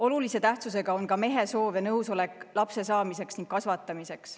Olulise tähtsusega on ka mehe soov ja nõusolek lapse saamiseks ning kasvatamiseks.